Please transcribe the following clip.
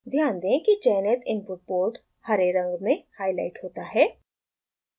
ध्यान दें कि चयनित इनपुट पोर्ट हरे रंग में हाईलाइट होता है